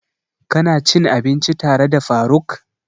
Ka na cin abinci tare da faruk?